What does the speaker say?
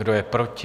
Kdo je proti?